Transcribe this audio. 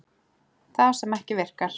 Það sem ekki virkar